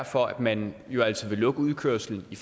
for at man vil lukke udkørslen i